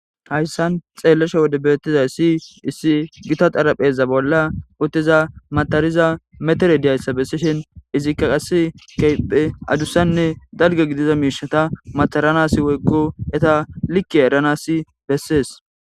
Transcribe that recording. hayssan xeellesha wode beettizay si issi gita xarapheza bolla uttiza matariza metere diyayssa bessishin izikka qas keyphe adussanne dalge gidiza miishata mataranas woykko eta likke eranasi bessees